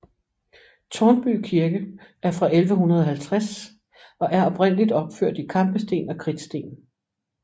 Tårnby Kirke er fra 1150 og er oprindeligt opført i kampesten og kridtsten